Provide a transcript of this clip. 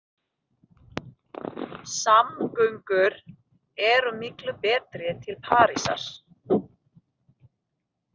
Samgöngur eru miklu betri til Parísar.